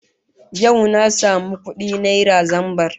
Yau na samu kudi naira zambar